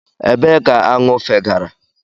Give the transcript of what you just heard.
Ebee ka aṅụ fegara?